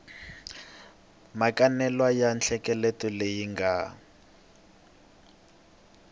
makanelwa ya nhlengeletano leyi nga